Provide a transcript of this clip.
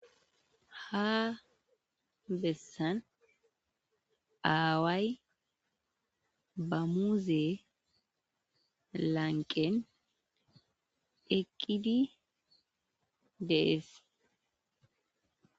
ha bessan aaway bammuuze lanqen eqqidi de'es